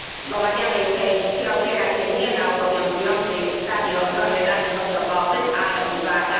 W omawianej części opiera się nie na obowiązującej ustawie o ochronie danych osobowych, ale uwaga!